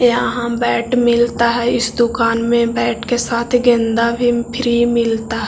यहाँ बैट मिलता है इस दूकान में बैट के साथ गेंदा भी फ्री मिलता --